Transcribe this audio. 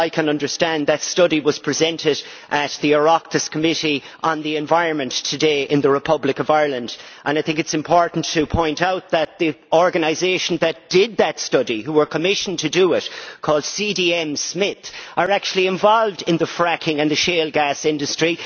far as I can understand, that study was presented at the Oireachtas Committee on the Environment today in the Republic of Ireland, and I think it is important to point out that the organisation that did that study and which was commissioned to do it CDM Smith are actually involved in the fracking and the shale gas industry.